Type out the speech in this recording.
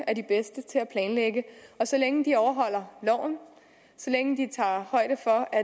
er de bedste til at planlægge så længe de overholder loven og så længe de tager højde for at